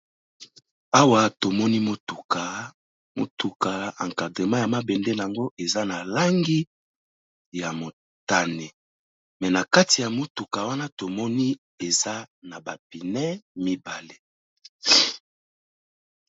Awa tomoni motuka, motuka encadrema ya mabende nango eza na langi ya motane, me na kati ya motuka wana tomoni eza na ba pneu mibale.